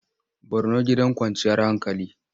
Borno gidan kwanciyar hankali.